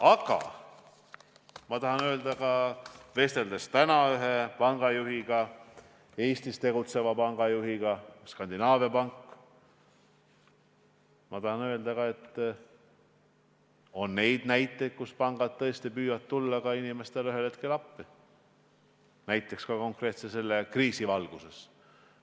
Aga ma tahan öelda sedagi, olles vestelnud täna ühe pangajuhiga, Eestis tegutseva Skandinaavia panga juhiga, et on ka neid näiteid, kus pangad tõesti püüavad inimestele ühel hetkel appi tulla, ka konkreetselt selle kriisi valguses.